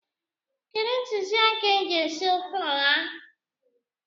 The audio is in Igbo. Kedụ ntụziaka e ji esi ofe ụha?